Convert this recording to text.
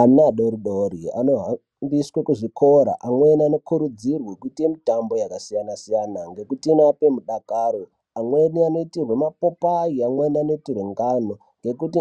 Ana adodori anohambiswe kuzvikora amweni anokurudzirwa kuita mutamba yakasiyana-siyana ngekuti inorape mudakaro amweni anoitirwa mapopayi amweni anoitirwa ngano ngekuti